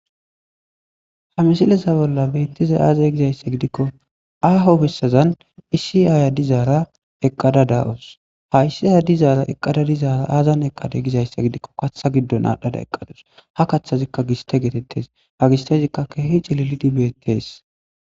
Ha misilesa bolla beettiza aaze gizayssa gidikko aaho fessazan issi aayaddizaara eqqada daawos ha issi ayadizaara eqqada dizaara aazan eqqada gizayssa gidikko katha giddon aadhdhada eqqadus ha kaththazikka giste geetettes ha gistezikka keehi cililidi beettes.